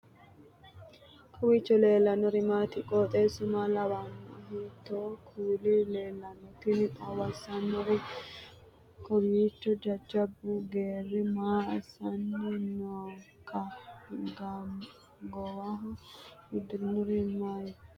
kowiicho leellannori maati ? qooxeessu maa lawaanno ? hiitoo kuuli leellanno ? tini xawissannori kowiicho jajjabbu geerii maa assanni nooikka goowaho uddirinohu mayraatikka